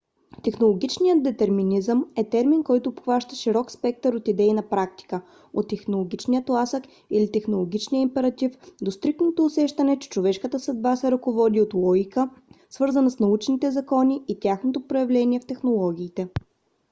технологичният детерминизъм е термин който обхваща широк спектър от идеи на практика - от технологичния тласък или технологичния императив до стриктното усещане че човешката съдба се ръководи от логика свързана с научните закони и тяхното проявление в технологиите